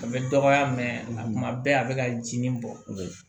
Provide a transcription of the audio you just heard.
A bɛ dɔgɔya kuma bɛɛ a bɛ ka jinin bɔ o la